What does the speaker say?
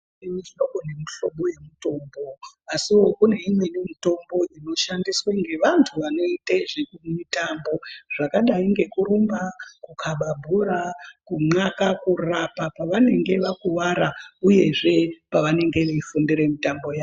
Kune mihlobo nemihlobo yemitombo asiwo kune imweni mitombo inoshandiswe ngevantu vanoite zvemitambo zvakadai ngekurumba, kukaba bhora, kunxaka, kurapa pavanenge vakuwara uyezve pavanenge veifundire mitambo yawo.